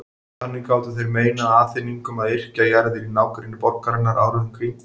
Þannig gátu þeir meinað Aþeningum að yrkja jarðir í nágrenni borgarinnar árið um kring.